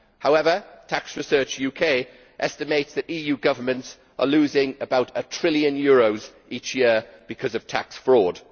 However, Tax Research UK estimates that EU governments are losing about a trillion euros each year through tax fraud.